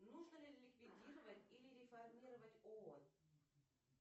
нужно ли ликвидировать или реформировать оон